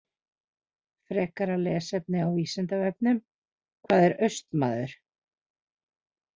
Frekara lesefni á Vísindavefnum: Hvað er Austmaður?